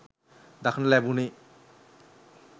දක්නට ලැබුණි